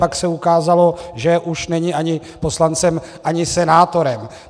Pak se ukázalo, že už není ani poslancem, ani senátorem.